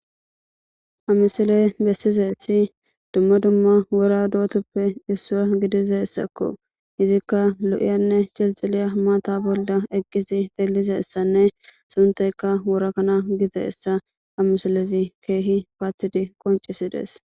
Amisiley bessizethi dumma dumma wora dootoppe issua gidizessakko izikka lo7iyanne celxiliya maata bolda eqqisi delizessanne sunteyka worakana gizeessa amisilezi keehi paathidi qoncisidees.